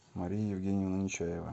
мария евгеньевна нечаева